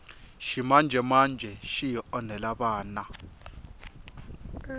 ximanjemanje xi hi onhela vana